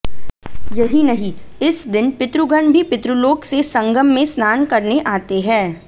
यही नहीं इस दिन पितृगण भी पितृलोक से संगम में स्नान करने आते हैं